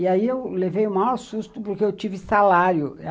E aí eu levei o maior susto, porque eu tive salário.